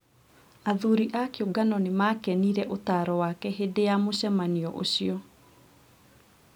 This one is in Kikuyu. athuri a kĩũngano nĩ maakenire ũtaaro wake hĩndĩ ya mũcemanio ũcio